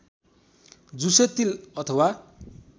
झुसे तिल अथवा